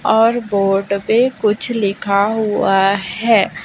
और बोर्ड पे कुछ लिखा हुआ है।